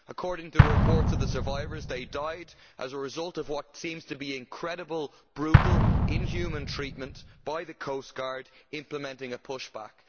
According to the reports of the survivors, they died as a result of what seems to be incredible brutal, inhuman treatment by the coastguard implementing a push back.